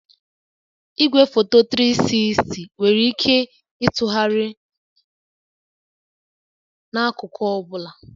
Igwefoto 360 nwere ike ịtụgharị n'akụkụ ọ bụla